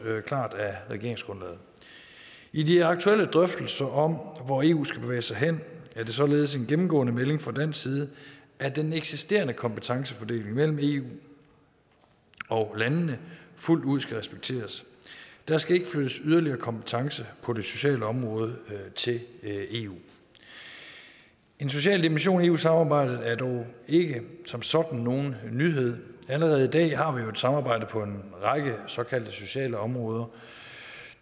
klart af regeringsgrundlaget i de aktuelle drøftelser om hvor eu skal bevæge sig hen er det således en gennemgående melding fra dansk side at den eksisterende kompetencefordeling mellem eu og landene fuldt ud skal respekteres der skal ikke flyttes yderligere kompetence på det sociale område til eu en social dimension i eu samarbejdet er dog ikke som sådan nogen nyhed allerede i dag har man jo et samarbejde på en række såkaldte sociale områder